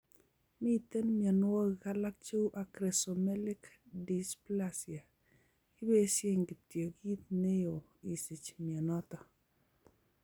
Miten mionwokik alak cheu acromesomelic dysplasia, kipesien kityok kit neyo isich mionoton.